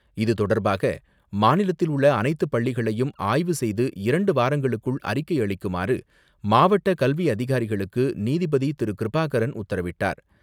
இது தொடர்பாக மாநிலத்தில் உள்ள அனைத்து பள்ளிகளையும் ஆய்வு செய்து இரண்டு வாரங்களுக்குள் அறிக்கை அளிக்குமாறு மாவட்ட கல்வி அதிகாரிகளுக்கு நீதிபதி திரு.கிருபாகரன் உத்தரவிட்டார்.